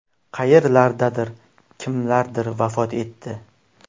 Qayerlardadir kimlardir vafot etdi.